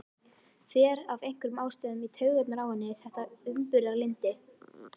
Fer af einhverjum ástæðum í taugarnar á henni þetta umburðarlyndi.